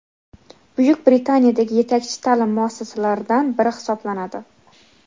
Buyuk Britaniyadagi yetakchi ta’lim muassasalaridan biri hisoblanadi.